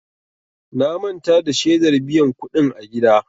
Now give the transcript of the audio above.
Na manta da shedar biyan kuɗin a gida.